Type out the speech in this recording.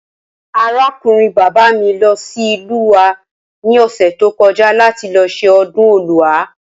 Arákùnrin bàbá mi lo̩ sí ìlú wa ní ò̩sè̩ tí ó ko̩já láti lo̩ s̩e o̩dún O̩lúa